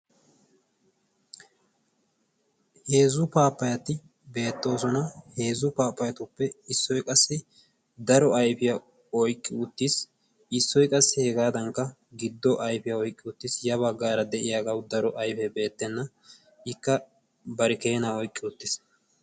heezzu paappayati beettoosona. heezzu paapayatuppe issoy qassi daro ayfiyaa oyqqi uttiis. issoy qassi hegaadankka giddo ayfiyaa oyqqi uttiis. ya baggaara de7iyaagawu daro ayfee beettenna ikka bari keena oyqqi uttiis.